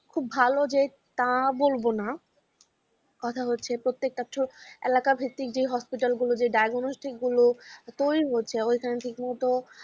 খুব ভালো যে তা বলবো না, কথা হচ্ছে প্রত্যেকটা এলাকাবৃত্তিক দিয়ে hospital গুলো যে diagnostic গুলো তৈরি হচ্ছে এর এখন ঠিকমতো